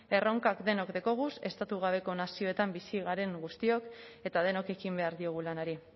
erronkak denok dekoguz estatu gabeko nazioetan bizi garen guztiok eta denok ekin behar diogu lanari